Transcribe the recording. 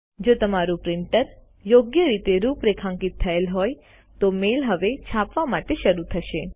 જો તમારું પ્રિન્ટર યોગ્ય રીતે રૂપરેખાંકિત થયેલ હોય તો મેઈલ હવે છાપવા માટે શરૂ થશે